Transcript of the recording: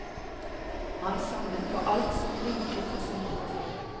Han samlet på alt som blinket og snurret.